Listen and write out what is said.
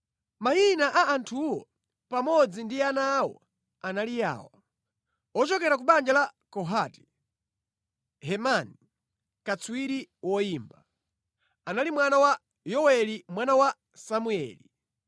Mayina a anthuwo, pamodzi ndi ana awo, anali awa: Ochokera ku banja la Kohati: Hemani, katswiri woyimba, anali mwana wa Yoweli, mwana wa Samueli,